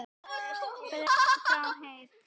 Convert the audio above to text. Kalt mat?